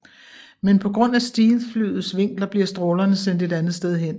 Men på grund af Stealthflyets vinkler bliver strålerne sendt et andet sted hen